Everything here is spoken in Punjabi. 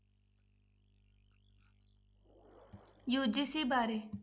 UGC ਬਾਰੇ।